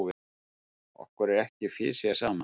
Okkur er ekki fisjað saman!